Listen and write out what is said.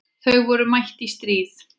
Þau voru mætt í stríð.